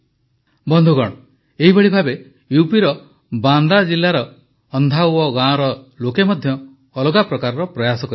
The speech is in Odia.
ବନ୍ଧୁଗଣ ଏହିଭଳି ଭାବେ ୟୁପିର ବାଁଦା ଜିଲାର ଅନ୍ଧାୱ ଗାଁର ଲୋକେ ମଧ୍ୟ ଅଲଗା ପ୍ରକାରର ପ୍ରୟାସ କରିଛନ୍ତି